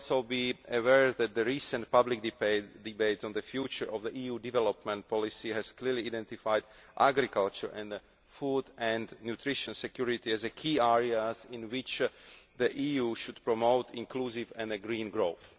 You may also be aware that the recent public debate on the future of EU development policy has clearly identified agriculture and food and nutrition security as the key areas in which the EU should promote inclusive and green growth.